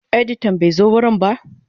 Editan bai zo wurin ba.